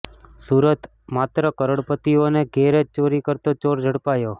સુરતઃ માત્ર કરોડોપતિઓને ઘેર જ ચોરી કરતો ચોર ઝડપાયો